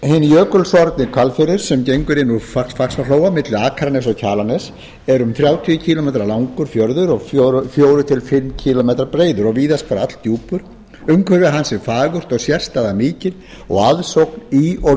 hinn jökulsorfni hvalfjörður sem gengur inn úr faxaflóa milli akraness og kjalarness er um þrjátíu kílómetra langur fjörður og fjórar til fimm kílómetra breiður og víðast hvar alldjúpur umhverfi hans er fagurt og sérstaða mikil og aðsókn í og